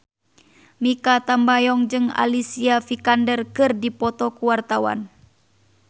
Mikha Tambayong jeung Alicia Vikander keur dipoto ku wartawan